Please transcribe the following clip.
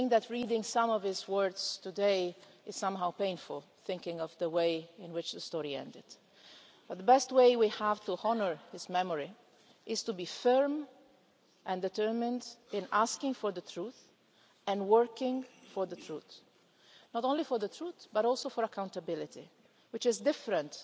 Reading some of his words today is quite painful, thinking of the way in which the story ended, but the best way we have to honour his memory is to be firm and determined in asking for the truth and working for the truth not only for the truth, but also for accountability, which is different